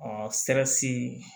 sɛrisi